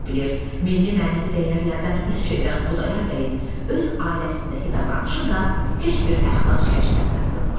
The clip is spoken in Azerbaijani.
Milli mənəvi dəyərlərdən üz çevirən Xudayar bəyin öz ailəsindəki davranışı da heç bir əxlaq çərçivəsinə sığmır.